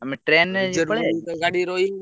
Train କାଳେ ତ ଗାଡି ରହିବନି।